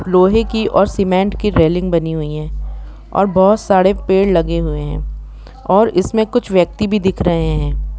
लोहे की और सीमेंट रेलिंग बनी हुई है और बहुत सारे पेड़ लगे हुए है और उसमें कुछ व्यक्ति भी दिख रहे हैं।